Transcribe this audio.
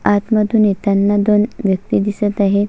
आतमधून येताना दोन व्यक्ती दिसत आहे.